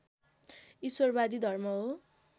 ईश्वरवादी धर्म हो